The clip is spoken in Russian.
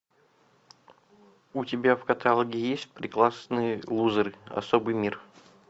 у тебя в каталоге есть прекрасные лузеры особый мир